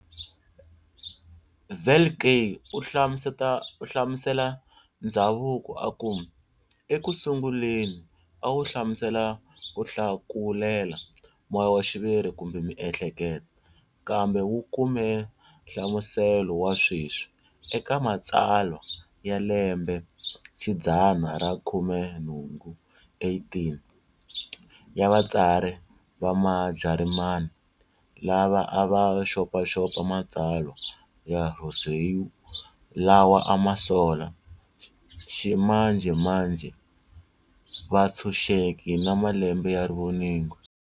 Velkley uhlamusela Ndzhavuko, aku-ekusunguleni awu hlamusela kuhlakulela moyaxiviri kumbe miehleketo, kambe wu kume hlamuselo wa sweswi eka matsalwa ya lembexidzana ra khumenhungu, 18, ya vatsari va ma Jarimani, lava ava xopaxopa matsalwa ya Rousseau lawa ama sola"ximanjemanje vutshunxeki na malembe ya rivoningo."